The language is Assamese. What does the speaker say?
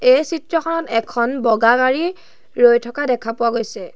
এই চিত্ৰখনত এখন বগা গাড়ী ৰৈ থকা দেখা পোৱা গৈছে।